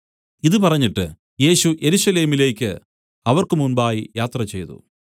ഇതു പറഞ്ഞിട്ട് യേശു യെരൂശലേമിലേക്ക് അവർക്ക് മുമ്പായി യാത്രചെയ്തു